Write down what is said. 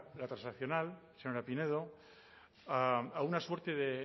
la transaccional señora pinedo a una suerte de